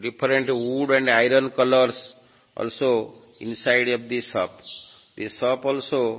different wood and iron colours also inside of the shop the shop also --